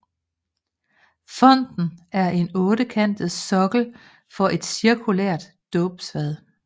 Fonten er en ottekantet sokkel for et cirkulært dåbsfad